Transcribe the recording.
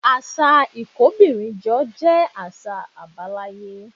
Àṣà ìkóbìnrinjọ jẹ́ àṣà àbáláyé